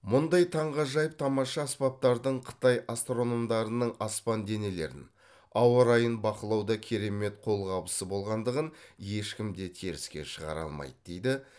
мұндай таңғажайып тамаша аспаптардың қытай астрономдарының аспан денелерін ауа райын бақылауда керемет қолқабысы болғандығын ешкім де теріске шығара алмайды дейді